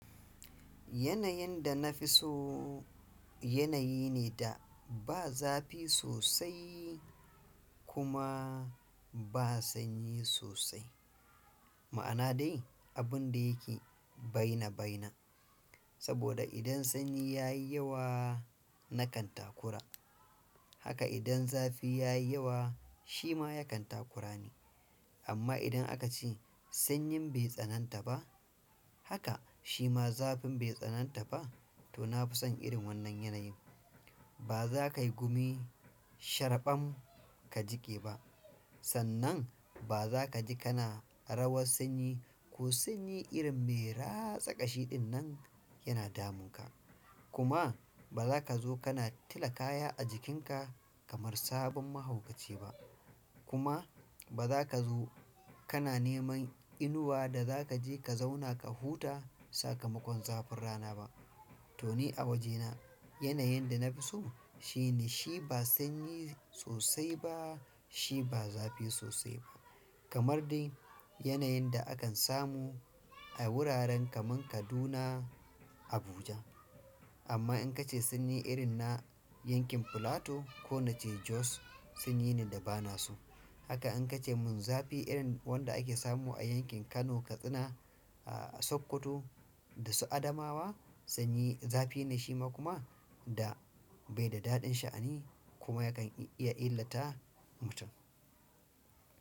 Yanayin da na fi so yanayi ne da ba zafi sosai kuma ba sanyi sosai. Ma'ana dai abun da yake baina baina. Saboda idan sanyi ya yi yawa na kan takura. Haka idan zafi yayi yawa, shima yakan takura ni amma idan aka ce sanyin bai tsananta ba haka shi ma zafin bai tsananta ba to na fi son irin wannan yanayin. Ba za ka yi gumi sharɓam ka jiƙe ba sannan ba za ka ji kana rawar sanyi ko sanyi irin me ratsa ƙashi ɗin nan yana damunka. Kuma ba zaka zo kana tula kaya a jikin ka kaman sabon mahaukaci ba kuma ba za ka zo kana neman inuwa da za ka je ka zauna ka huta sakamakon zafin rana ba. To ni a wajena, yanayin da na fi so shine shi ba sanyi sosai ba shi ba zafi sosai ba kamar dai yanayin da akan samu a wuraren kaman Kaduna, Abuja. Amma in ka ce sanyi irin na yanakin Plateau ko nace Jos sanyi ne da ba na so. Haka in ka ce mun zafi irin wanda ake samu a yankin Kano, Katsina, Sokoto da su Adamawa sanyi zafi ne shi ma kuma da bai da daɗin sha'ani kuma yakan iya illata mutum.